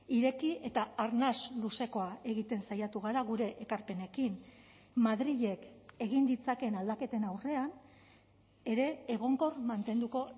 ireki eta arnas luzekoa egiten saiatu gara gure ekarpenekin madrilek egin ditzakeen aldaketen aurrean ere egonkor mantenduko